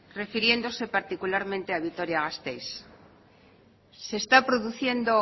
refiriéndose particularmente a vitoria gasteiz se está produciendo